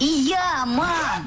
иә мам